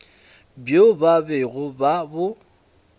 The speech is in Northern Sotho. bjo ba bego ba bo